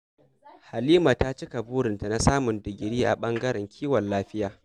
Halima ta cika burinta na samun digiri a ɓangaren kiwon lafiya